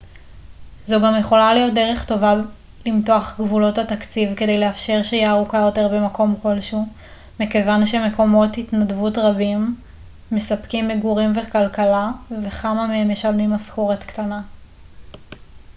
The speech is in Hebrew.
זו גם יכולה להיות דרך טובה למתוח את גבולות התקציב כדי לאפשר שהייה ארוכה יותר במקום כלשהו מכיוון שמקומות התנדבות רבים מספקים מגורים וכלכלה וכמה מהם משלמים משכורת קטנה